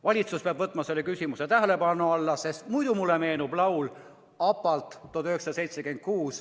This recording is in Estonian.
Valitsus peab võtma selle küsimuse tähelepanu alla, sest muidu meenub mulle laul ABBA-lt "Money, money, money".